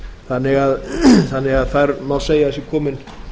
þannig að þar má segja að sé komin